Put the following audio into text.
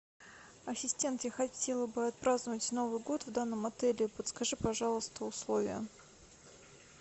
ассистент я хотела бы отпраздновать новый год в данном отеле подскажи пожалуйста условия